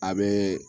A bɛ